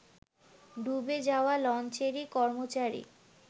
ডুবে যাওয়া লঞ্চেরই কর্মচারী